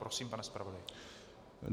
Prosím, pane zpravodaji.